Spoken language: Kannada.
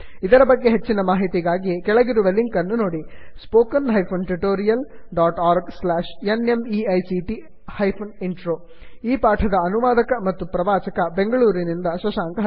ಇದರ ಬಗ್ಗೆ ಹೆಚ್ಚಿನ ಮಾಹಿತಿಗಾಗಿ ಕೆಳಗಿರುವ ಲಿಂಕ್ ಅನ್ನು ನೋಡಿ spoken hyphen tutorial dot org slash NMEICT hyphen intro ಈ ಪಾಠದ ಅನುವಾದಕ ಮತ್ತು ಪ್ರವಾಚಕ ಬೆಂಗಳೂರಿನಿಂದ ಶಶಾಂಕ